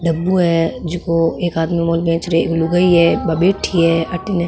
डब्बो है जैको एक आदमी बेच रो है एक लुगाई है बा बैठी है अठन --